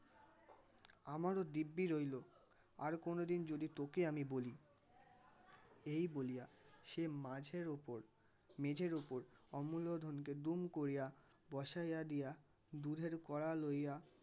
আমারও দিব্যি রইল আর কোনোদিন যদি তোকে আমি বলি এই বলিয়া সে মাঝের ওপর মেঝের ওপর অমুল্য ধনকে দুম করিয়া বসাইয়া দিয়া দুধের কড়া লইয়া